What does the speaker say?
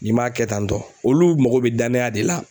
N'i m'a kɛ tan tɔ olu mago be danaya de la.